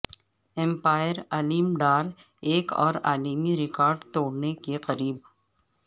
امپائرعلیم ڈار ایک اور عالمی ریکارڈ توڑنے کے قریب